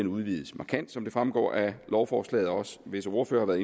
udvides markant som det fremgår af lovforslaget og visse ordførere